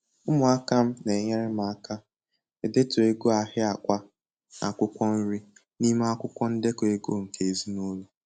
Ụmụaka m n'enyere m aka edetu ego ahịa akwá na akwụkwọ nrị n'ime akwụkwọ ndeko ego nke ezinụlọ